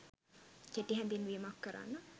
කෙටි හැඳින්වීමක් කරන්න.